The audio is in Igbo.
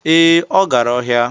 Ee, ọ gara ọhịa